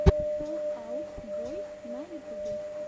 фэл аут бой на ютюбе